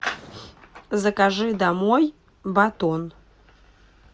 закажи домой батон